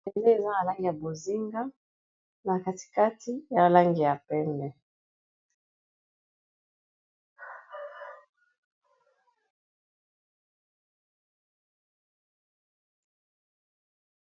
Bendela eza nalangi ya bozinga na katikati ya alangi ya pembe